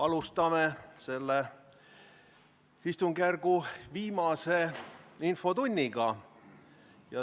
Alustame selle istungjärgu viimast infotundi.